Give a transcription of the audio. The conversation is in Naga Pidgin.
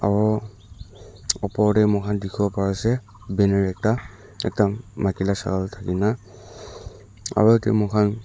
aru opor te mur khan dekhi bo Pari se banner ekta ekta maiki laga shakal thaki kina aru ke mur khan--